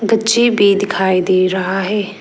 पुच्ची भी दिखाई दे रहा है।